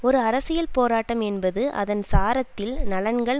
ஒரு அரசியல் போராட்டம் என்பது அதன் சாரத்தில் நலன்கள்